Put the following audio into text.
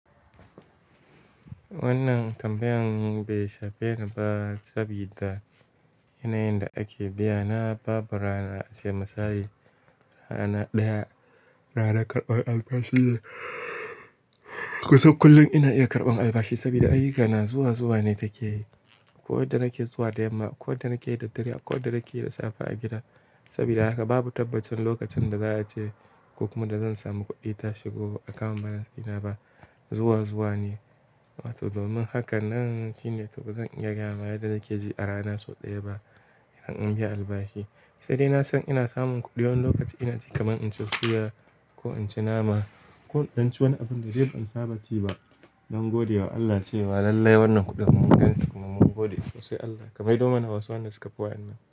Wannan tambayan bai shafe ni ba sabida yanayin da ake biya na babu rana sai misali rana ɗaya, rana karɓan albashi. Kusan kullum ina iya karɓan albashi sabida ayyukana zuwa zuwa ne take yi. Ko da na ke zuwa da yamma, ko da na ke da dare, ko da na ke da safe a gida. Sabida haka babu tabbacin lokacin da za a je ko kuma da zan samu kuɗi ta shigo akawun bankina ba. Zuwa zuwa ne. To domin haka nan shine to bazan iya gaya ma yadda nake ji a rana sau ɗaya ba idan an biya albashi. Sai dai na san ina samun kuɗi wani lokaci ina ji kaman in ci suya. Ko in ci nama ko in ci wani abun da dai ban saba ci ba don godewa Allah cewa lallai wannan kuɗin mun gani kuma mun gode sosai Allah. Ka maido mana wasu wanda suka fi waɗannan.